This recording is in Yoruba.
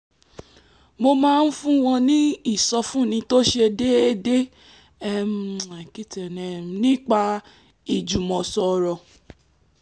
mo máa ń fún wọn ní ìsọfúnni tó ṣe déédéé nípa ìjùmọ̀sọ̀rọ̀